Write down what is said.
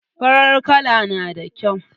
Farar kala na da kyau.